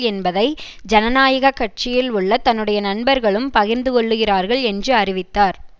என்பதை ஜனநாயக கட்சியில் உள்ள தன்னுடைய நண்பர்களும் பகிர்ந்துகொள்ளுகிறார்கள் என்று அறிவித்தார்